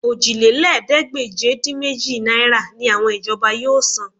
Òjìlélẹ́ẹ̀ẹ́dégbèje-dín-méjì náírà ni àwọn ìjọba yóò san